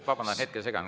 Vabandan, hetke segan.